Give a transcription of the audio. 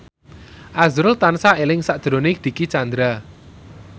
azrul tansah eling sakjroning Dicky Chandra